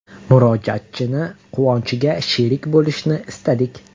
Murojaatchining quvonchiga sherik bo‘lishni istadik.